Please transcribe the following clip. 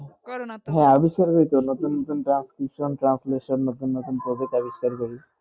করো না তো হেঁ আবিস্কার করি তো নতুন নতুন transcription translation নতুন নতুন project আবিষ্কার করি